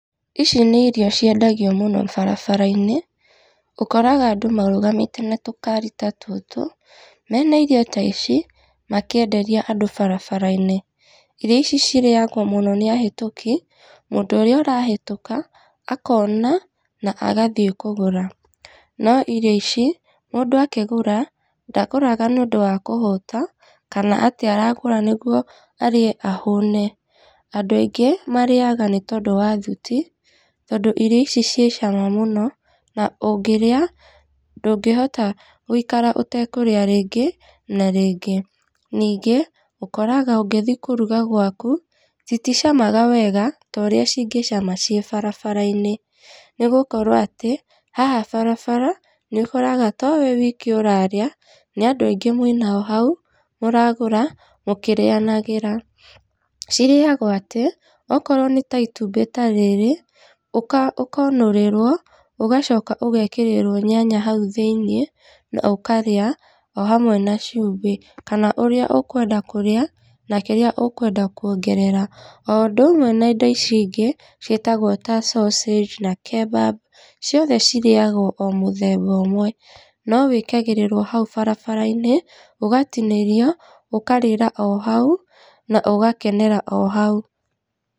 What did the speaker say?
Ici nĩ irio ciendagio mũno barabara-inĩ ũkoraga andũ marũgamite na tũkaari ta tũtũ mena irio ta ici makĩenderia andũ barabara-inĩ. Irio ici cirĩagwo mũno nĩ ahĩtũki mũndũ ũrĩa ũrahĩtũka akona na agathiĩ kũgũra. No irio ici mũndũ akĩgũra ndagũraga nĩ ũndũ wa kũhũta kana atĩ aragũra nĩguo arĩe ahũne. Andũ aingĩ marĩaga nĩ ũndũ wa thuti tondũ irio ici cirĩ cama mũno na ũngĩrĩa ndũngĩhota gũikara ũtakũrĩa rĩngĩ na rĩngĩ. Ningĩ ũkoraga ũngĩthiĩ kũruga gwaku citicamaga wega ta ũrĩa cingĩcama ciĩ barabara-inĩ. Nĩ gũkorwo atĩ haha barabara nĩũkoraga to we wiki ũrarĩa nĩ andũ aingĩ mwĩnao hau mũragũra mũkĩrĩanagĩra. Cirĩagwo atĩ, okorwo nĩ ta itumbĩ ta rĩrĩ ũkonũrĩrwo ũgacoka ũgekĩrirwo nyanya hau thĩinĩ na ũkarĩa o hamwe na cumbĩ. Kana ũrĩa ũkwenda kũrĩa na kĩrĩa ũkwenda kuongerera. O ũndũ ũmwe na indo ici ingĩ ciĩtagwo ta sausage na kebab ciothe cirĩagwo o mũthemba ũmwe. No wĩkagĩrĩrwo hau barabara-inĩ ũgatinĩrio ũkarĩra o hau na ũgakenera o hau.